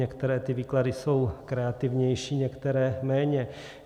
Některé ty výklady jsou kreativnější, některé méně.